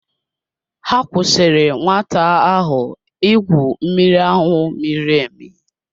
Ha kwụsịrị nwata ahụ igwu mmiri ahụ miri emi.